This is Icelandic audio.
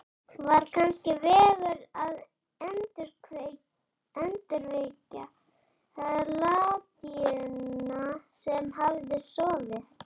Var kannski vegur að endurvekja latínuna sem hafði sofið